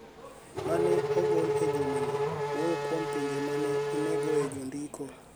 ma ne ogol e juma ni, wuoyo kuom pinje ma ne onegoe jondiko